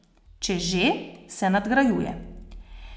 Če že, se nadgrajuje.